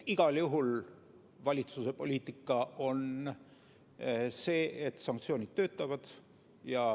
Igal juhul valitsuse poliitika on see, et sanktsioonid töötavad.